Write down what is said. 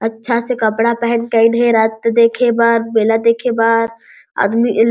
अच्छा से कपड़ा पहन के आइन हे रात के देखे बर मेला देखे बर आदमी इन--